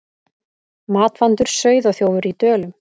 Matvandur sauðaþjófur í Dölum